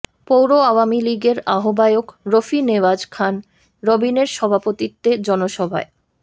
পৌর আওয়ামী লীগের আহ্বায়ক রফি নেওয়াজ খান রবিনের সভাপতিত্বে জনসভায়